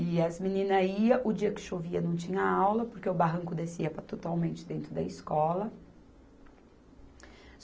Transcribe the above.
E as meninas iam, o dia que chovia não tinha aula, porque o barranco descia para totalmente dentro da escola.